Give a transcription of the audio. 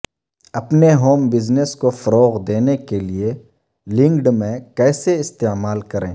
اپنے home business کو فروغ دینے کے لئے لنکڈ میں کیسے استعمال کریں